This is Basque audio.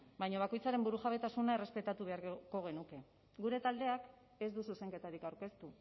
baina bakoitzaren burujabetasuna errespetatu beharko genuke gure taldeak ez du zuzenketarik aurkeztu